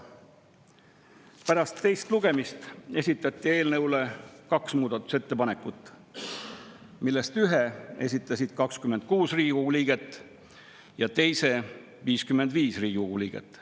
Pärast teist lugemist esitati eelnõu kohta kaks muudatusettepanekut, millest ühe esitasid 26 Riigikogu liiget ja teise 55 Riigikogu liiget.